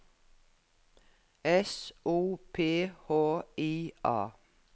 S O P H I A